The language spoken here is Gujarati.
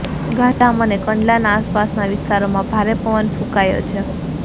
ગાંધીધામ અને કંડલાના આસપાસના વિસ્તારોમાં ભારે પવન ફૂંકાયો છે